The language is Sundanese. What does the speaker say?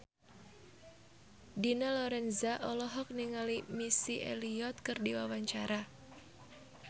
Dina Lorenza olohok ningali Missy Elliott keur diwawancara